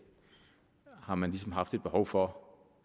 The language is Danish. har man ligesom haft et behov for